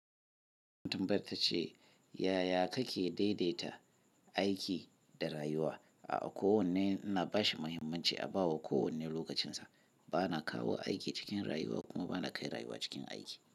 Tambayar ta ce, "yaya kake daidaita aiki da rayuwa?" A'a kowanne ina bashi muhimmanci a ba wa kowanne lokacinsa. Ba na kawo aiki cikin rayuwa kuma ba na kai rayuwa cikin aiki."